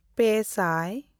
ᱯᱮᱼᱥᱟᱭ